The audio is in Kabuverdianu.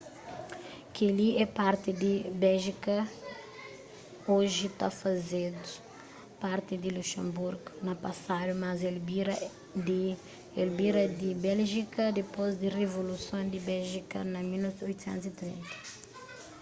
kel ki é parti di béjika oji ta fazeba parti di luxenburgu na pasadu mas el bira di béljika dipôs di rivoluson di béjika na 1830